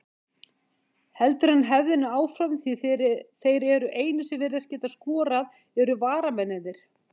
Heldur hann hefðinni áfram því þeir einu sem virðast geta skorað eru varamennirnir?